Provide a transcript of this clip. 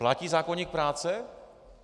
Platí zákoník práce?